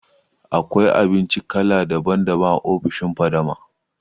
Akwai abinci kala daban daban a ofishin Fadama lll